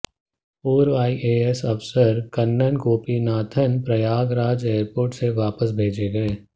पूर्व आईएएस अफसर कन्नन गोपीनाथन प्रयागराज एयरपोर्ट से वापस भेजे गए